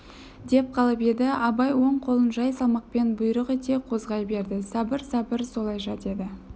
деп қалып еді абай оң қолын жай салмақпен бұйрық ете қозғай берді сабыр сабыр солайша деді